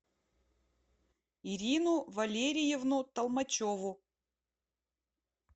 ирину валериевну толмачеву